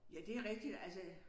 Ja det rigtigt altså